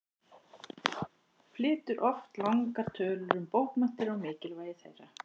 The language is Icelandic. Flytur oft langar tölur um bókmenntir og mikilvægi þeirra.